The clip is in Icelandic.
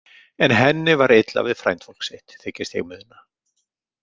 En henni var illa við frændfólk sitt, þykist ég muna.